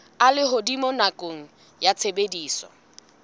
a lehodimo nakong ya tshebediso